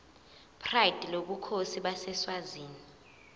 pride lobukhosi baseswazini